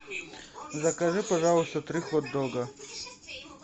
закажи пожалуйста три хот дога